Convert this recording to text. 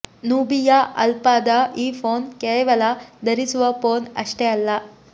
Nubia ಅಲ್ಫಾದ ಈ phone ಕೇವಲ ಧರಿಸುವ ಫೋನ್ ಅಷ್ಟೇ ಅಲ್ಲ